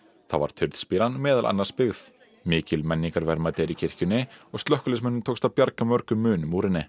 þá var meðal annars byggð mikil menningarverðmæti eru í kirkjunni og slökkviliðsmönnum tókst að bjarga mörgum munum úr henni